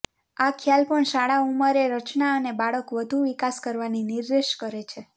આ ખ્યાલ પણ શાળા ઉંમરે રચના અને બાળક વધુ વિકાસ કરવાની નિર્દેશ કરે છે